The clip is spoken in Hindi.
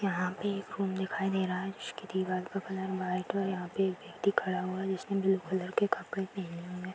यहाँ पे एक रूम दिखाई दे रहा है उसकी दीवार का कलर व्हाइट है और यहाँ पे एक व्यक्ति खड़ा हुआ है जिसने ब्लू कलर के कपड़े पहने हुए है।